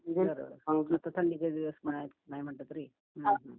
बरोबर आणि इथे थंडीचे दिवस पण आहेत. नाही म्हंटलं तरी. हुं हुं